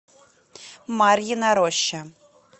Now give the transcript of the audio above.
марьина роща